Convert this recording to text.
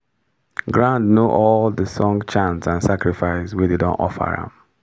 ground know all d song chant and sacrifice wey dem don offer am